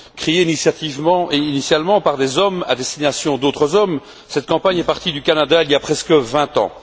Créée initialement par des hommes à destination d'autres hommes, cette campagne est partie du Canada il y a presque vingt ans.